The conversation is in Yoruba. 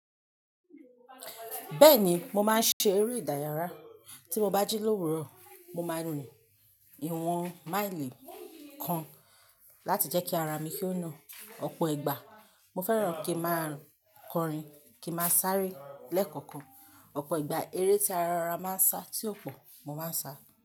Bẹ́ẹ̀ni, mo máa ń ṣe eré ìdárayá. Tí mo bá jí lòwúrò, mo máa rìn ìwọ̀n máìlì kan láti jẹ́ kí ara mi ko nà, ọ̀pọ̀ ìgbà. Mo fẹ́ràn kí ma kọrin, kí ma sáré lẹ́kọ̀ọ̀kan. Ọ̀pọ̀ ìgbà eré tí ara máa ń sá tí ó pọ̀, mo máa ń sá.